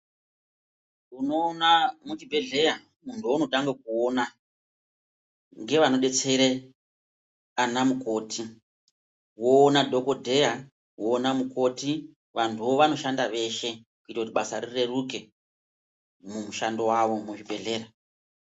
Unoona muchibhedhlera munhu waunotange kuona ngevanodetsere ana mukoti woona dhokodheya, woona mukoti vantuwo vanoshanda veshe kuite kuti basa rireruke mumushando wavo muzvibhedhlera.